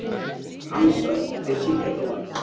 Hansa, hver syngur þetta lag?